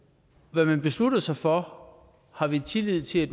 hvad man beslutter sig for har vi tillid til